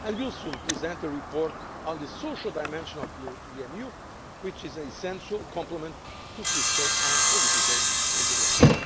instrument. We will soon present a report on the social dimension of the EMU, which is an essential complement to fiscal and political integration.